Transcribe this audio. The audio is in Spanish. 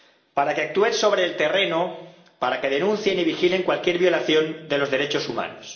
Para que actúen sobre el terreno, para que denuncien y vigilen cualquier violación de los derechos humanos.